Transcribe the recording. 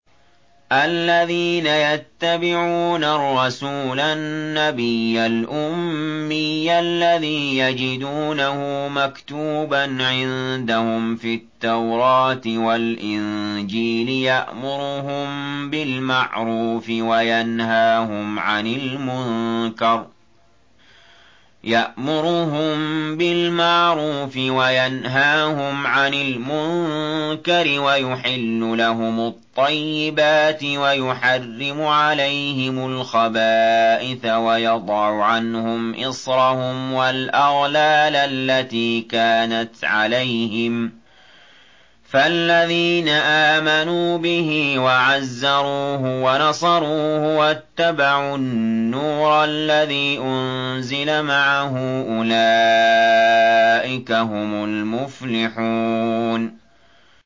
الَّذِينَ يَتَّبِعُونَ الرَّسُولَ النَّبِيَّ الْأُمِّيَّ الَّذِي يَجِدُونَهُ مَكْتُوبًا عِندَهُمْ فِي التَّوْرَاةِ وَالْإِنجِيلِ يَأْمُرُهُم بِالْمَعْرُوفِ وَيَنْهَاهُمْ عَنِ الْمُنكَرِ وَيُحِلُّ لَهُمُ الطَّيِّبَاتِ وَيُحَرِّمُ عَلَيْهِمُ الْخَبَائِثَ وَيَضَعُ عَنْهُمْ إِصْرَهُمْ وَالْأَغْلَالَ الَّتِي كَانَتْ عَلَيْهِمْ ۚ فَالَّذِينَ آمَنُوا بِهِ وَعَزَّرُوهُ وَنَصَرُوهُ وَاتَّبَعُوا النُّورَ الَّذِي أُنزِلَ مَعَهُ ۙ أُولَٰئِكَ هُمُ الْمُفْلِحُونَ